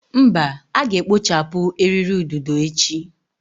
Mba, a ga-ekpochapụ eriri ududo echi.